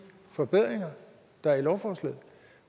forbedringer der er i lovforslaget